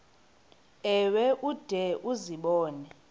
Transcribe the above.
ewe ude uzibone